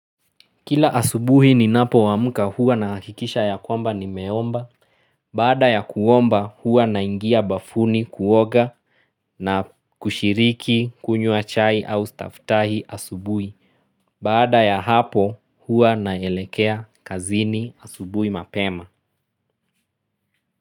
Kila asubuhi ni napo amka huwa na hakikisha ya kwamba nime omba, baada ya kuomba huwa naingia bafuni kuoga na kushiriki kunywa chai au staftahi asubuhi, baada ya hapo huwa naelekea kazini asubuhi mapema.